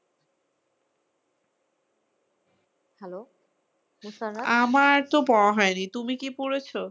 আমার তো পড়া হয়নি, তুমি কি পড়েছ?